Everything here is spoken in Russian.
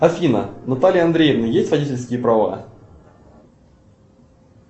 афина у натальи андреевны есть водительские права